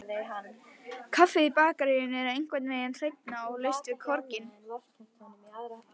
Kaffið í bakaríinu er einhvernveginn hreinna, og laust við korginn.